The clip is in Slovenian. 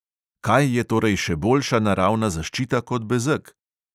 Kaj je torej še boljša naravna zaščita kot bezeg?